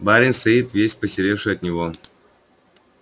барин стоит весь посеревший от него